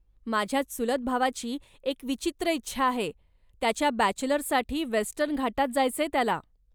माझ्या चुलत भावाची एक विचित्र इच्छा आहे, त्याच्या बॅचलर्ससाठी वेस्टर्न घाटात जायचंय त्याला.